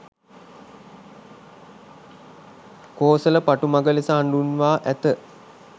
කෝසල පටුමග ලෙස හඳුන්වා ඇත